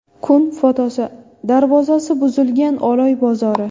Kun fotosi: Darvozasi buzilgan Oloy bozori.